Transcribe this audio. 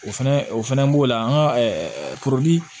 O fɛnɛ o fɛnɛ b'o la an ka kurundi